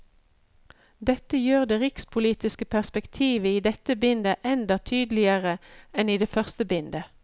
Dette gjør det rikspolitiske perspektivet idenne bindet enda tydligere enn i det første bindet.